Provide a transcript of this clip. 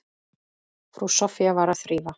Frú Soffía var að þrífa.